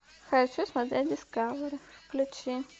хочу смотреть дискавери включи